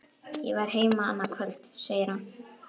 Ég verð heima annað kvöld, segir hann.